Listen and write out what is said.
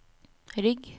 rygg